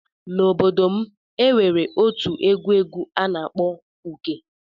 N'ime obodo m, e nwere otu egwu egwu a na-akpọ Uke.